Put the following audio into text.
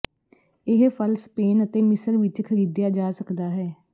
ਇਹ ਫਲ ਸਪੇਨ ਅਤੇ ਮਿਸਰ ਵਿਚ ਖਰੀਦਿਆ ਜਾ ਸਕਦਾ ਹੈ